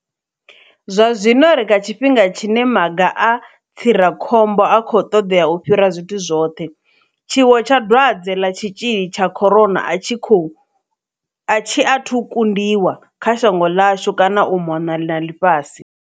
Zwa zwino ri kha tshifhinga tshine maga a tsirakhombo a khou ṱoḓea u fhira zwithu zwoṱhe. Tshiwo tsha dwadze ḽa tshitzhili tsha corona a tshi athu kundiwa, kha shango ḽashu kana u mona na ḽifhasi.